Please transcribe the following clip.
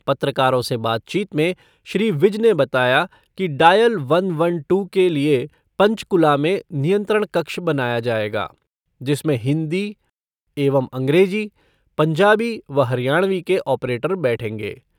पत्रकारों से बातचीत में श्री विज ने बताया कि डायल वन वन टू के लिए पंचकुला में नियंत्रण कक्ष बनाया जायेगा, जिसमें हिन्दी एवं अंग्रेज़ी, पंजाबी व हरियाणवी के ऑपरेटर बैठेंगे।